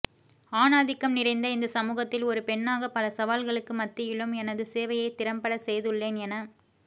ஆணாதிக்கம் நிறைந்த இந்த சமூகத்தில் ஒரு பெண்ணாக பல சவால்களுக்கு மத்தியிலும் எனது சேவையை திறம்பட செய்துள்ளேன் என